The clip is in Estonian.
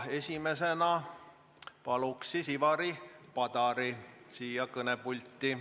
Esimesena palun Ivari Padari siia kõnepulti.